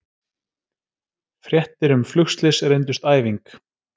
Fréttir um flugslys reyndust æfing